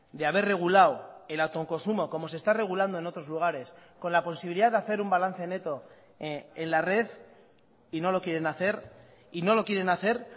de haber regulado el autoconsumo como se está regulando en otros lugares con la posibilidad de hacer un balance neto en la red y no lo quieren hacer y no lo quieren hacer